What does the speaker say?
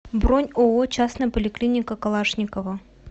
бронь ооо частная поликлиника калашникова